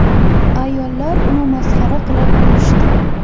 Ayollar uni masxara qilib, kulishdi.